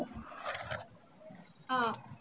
ஆஹ்